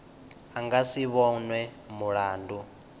a nga si vhonwe mulandu